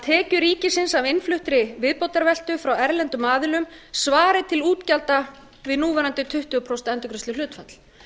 tekjur ríkisins af innfluttri viðbótarveltu frá erlendum aðilum svari til útgjalda við núverandi tuttugu prósent endurgreiðsluhlutfall